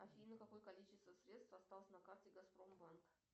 афина какое количество средств осталось на карте газпромбанк